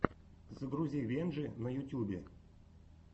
загрузи венджи на ютюбе